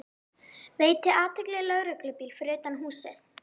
Veiti athygli lögreglubíl fyrir utan húsið.